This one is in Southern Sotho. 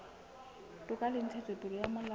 toka le ntshetsopele ya molao